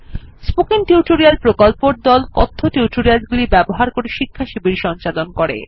spoken tutorial প্রকল্পর দল কথ্য টিউটোরিয়াল গুলি ব্যবহার করে শিক্ষাশিবির সঞ্চালন করে